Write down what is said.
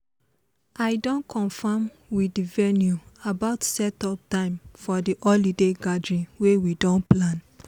i don confirm with the venue about setup time for the holiday gathering wey we don plan